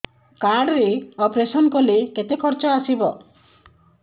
card ରେ operation କଲେ କେତେ ଖର୍ଚ ଆସିବ